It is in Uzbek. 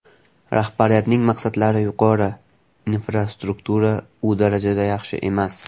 Rahbariyatning maqsadlari yuqori, infrastruktura u darajada yaxshi emas.